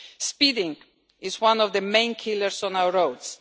Speeding is one the main killers on our roads.